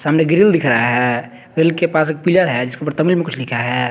सामने ग्रिल दिख रहा है ग्रिल के पास एक पिलर है जिसके ऊपर तमिल में कुछ लिखा है।